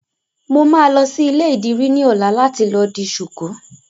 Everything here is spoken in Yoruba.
Mo máa lọ sí ilé ìdìrí ní ọ̀la láti lọ di ṣuku